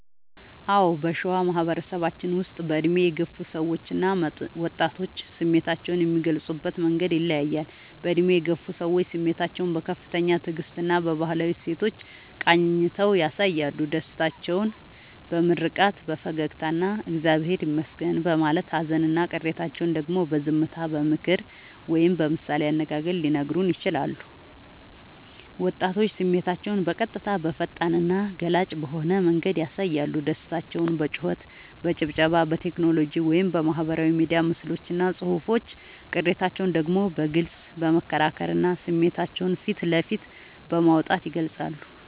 አዎ: በሸዋ ማህበረሰባችን ውስጥ በዕድሜ የገፉ ሰዎችና ወጣቶች ስሜታቸውን የሚገልጹበት መንገድ ይለያያል፦ በዕድሜ የገፉ ሰዎች፦ ስሜታቸውን በከፍተኛ ትዕግስትና በባህላዊ እሴቶች ቃኝተው ያሳያሉ። ደስታቸውን በምርቃት፣ በፈገግታና «እግዚአብሔር ይመስገን» በማለት: ሃዘንና ቅሬታቸውን ደግሞ በዝምታ: በምክር ወይም በምሳሌ አነጋገር ሊነግሩን ይችላሉ። ወጣቶች፦ ስሜታቸውን በቀጥታ: በፈጣንና ገላጭ በሆነ መንገድ ያሳያሉ። ደስታቸውን በጩኸት: በጭብጨባ: በቴክኖሎጂ (በማህበራዊ ሚዲያ ምስሎችና ጽሑፎች): ቅሬታቸውን ደግሞ በግልጽ በመከራከርና ስሜታቸውን ፊት ለፊት በማውጣት ይገልጻሉ።